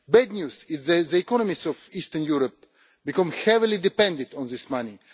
The bad news is that the economies of Eastern Europe have become heavily dependent on this money.